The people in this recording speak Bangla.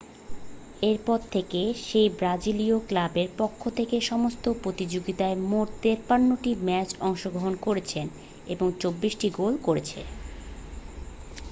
এরপর থেকে সেই ব্রাজিলীয় ক্লাবের পক্ষ থেকে সমস্ত প্রতিযোগিতায় মোট 53টি ম্যাচে অংশগ্রহণ করেছে এবং 24টি গোল করেছে